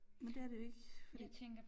Men det er det jo ikke fordi